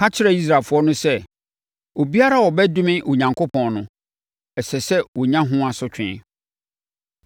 Ka kyerɛ Israelfoɔ no sɛ, ‘Obiara a ɔbɛdome Onyankopɔn no, ɛsɛ sɛ ɔnya ho asotwe: